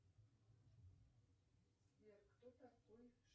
сбер кто такой